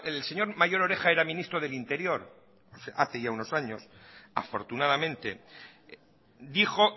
el señor mayor oreja era ministro del interior hace ya unos años afortunadamente dijo